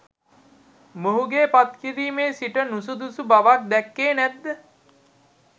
මොහුගේ පත්කිරිමේ සිට නුසුදුසු බව දැක්කේ නැත්ද?